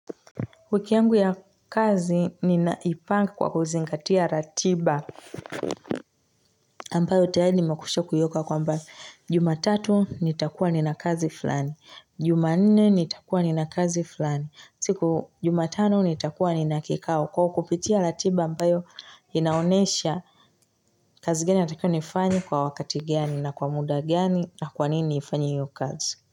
Wiki yangu ya, kazi ninaipanga kwa kuzingatia ratiba. Ambayo tayari nimekwisha kuiweka kwamba, jumatatu nitakuwa nina kazi fulani juma nne nitakuwa nina kazi fulani, siku juma tano nitakuwa nina kikao kwa kupitia ratiba ambayo inaonesha kazi gani natakiwa nifanye kwa wakati gani na kwa muda gani na kwa nini niifanye hiyo kazi.